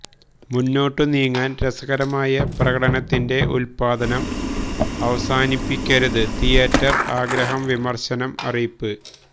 മുന്നോട്ടു നീങ്ങാൻ രസകരമായ പ്രകടനത്തിന്റെ ഉത്പാദനം അവസാനിപ്പിക്കരുത് തീയേറ്റർ ആഗ്രഹം വിമർശനം അറിയിപ്പ്